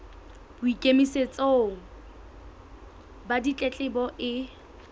bo ikemetseng ba ditletlebo e